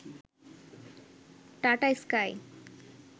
tata sky